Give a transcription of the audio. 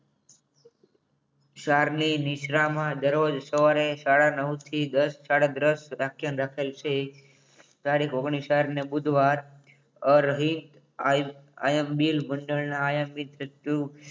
ક્ષારની નિંદ્રામાં દરરોજ સવારે સાડા નવ થી સાડા દસ આખ્યાન રાખેલ છે તારીખ ઓગ્નીશ ચાર ને બુધવાર રહી આઈ એમ બિલ મંડળના